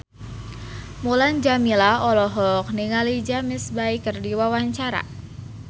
Mulan Jameela olohok ningali James Bay keur diwawancara